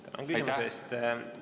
Tänan küsimuse eest!